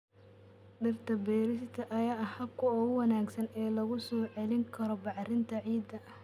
Dhirta beerista ayaa ah habka ugu wanaagsan ee lagu soo celin karo bacrinta ciidda.